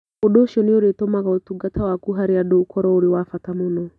Ũndũ ũcio nĩ ũrĩtũmaga ũtungata waku harĩ andũ ũkorũo ũrĩ wa bata mũno,